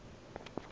toka